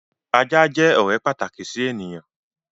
Ajá jẹ́ ọ̀rẹ́ pàtàkì sí ènìyàn.